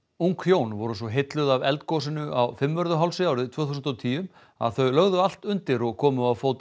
ung hjón voru svo heilluð af eldgosinu á Fimmvörðuhálsi árið tvö þúsund og tíu að þau lögðu allt undir og komu á fót